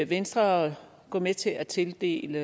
venstre gå med til at tildele